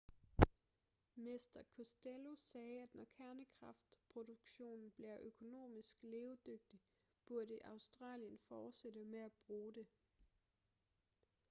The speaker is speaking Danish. mr costello sagde at når kernekraftproduktion bliver økonomisk levedygtig burde australien fortsætte med at bruge det